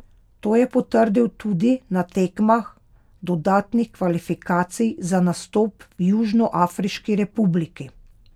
To je potrdil tudi na tekmah dodatnih kvalifikacij za nastop v Južnoafriški republiki.